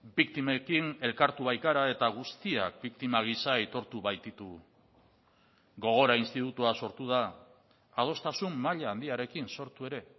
biktimekin elkartu baikara eta guztiak biktima gisa aitortu baititugu gogora institutoa sortu da adostasun maila handiarekin sortu ere